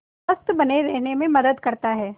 स्वस्थ्य बने रहने में मदद करता है